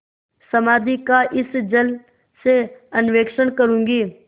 समाधि का इस जल से अन्वेषण करूँगी